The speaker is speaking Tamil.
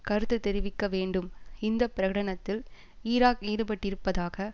கருத்து தெரிவிக்கவேண்டும் இந்த பிரகடனத்தில் ஈராக் ஈடுபட்டிருப்பதாக